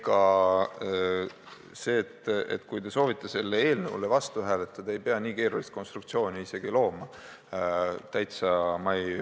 Ega selleks, kui te soovite selle eelnõu vastu hääletada, ei pea nii keerulist konstruktsiooni looma.